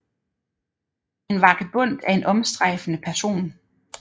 En vagabond er en omstrejfende person